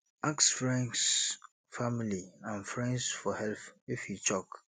ask friends family and friends for help if e choke